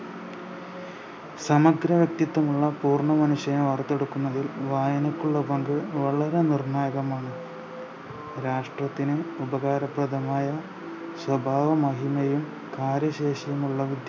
സമഗ്ര വ്യെക്തിത്വമുള്ള പൂർണ മനുഷ്യനെ വാർത്തെടുക്കുന്നതിൽ വായനക്കുള്ള പങ്ക് വളരെ നിർണായകമാണ് രാഷ്ട്രത്തിനും ഉപകാരപ്രദമായ സ്വഭാവമഹിമയും കാര്യശേഷിയും ഉള്ള വിദ്യ